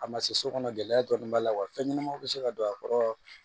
A ma se so kɔnɔ gɛlɛya dɔɔni b'a la fɛn ɲɛnamaw bɛ se ka don a kɔrɔ